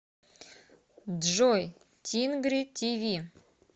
джой тингри ти ви